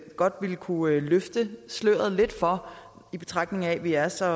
godt ville kunne løfte sløret lidt for i betragtning af at vi er så